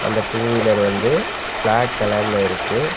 இந்த two wheeler வந்து black கலர்ல இருக்கு.